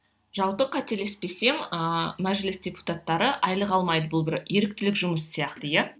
жалпы қателеспесем ыыы мәжіліс депутаттары айлық алмайды бұл бір еріктілік жұмыс сияқты иә